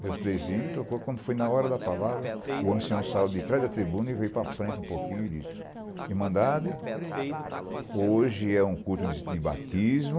e os três hinos tocou, quando foi na hora da palavra, o ancião saiu de trás da tribuna e veio para frente um pouquinho e disse, Irmandade, hoje é um culto de batismo,